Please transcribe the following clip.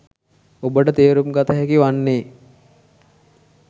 ඔබට තේරුම් ගත හැකි වන්නේ